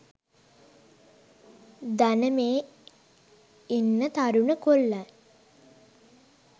දන මේ ඉන්න තරුණ කොල්ලන්